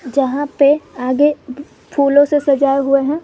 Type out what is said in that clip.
जहां पे आगे फूलों से सजाया हुआ हैं।